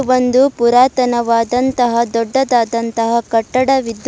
ಒಂದು ಪುರಾತನವಾದ ಅಂತಹ ದೊಡ್ಡದಾದ ಅಂತಹ ಕಟ್ಟಡವಿದ್ದು.